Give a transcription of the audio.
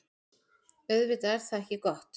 Auðvitað er það ekki gott.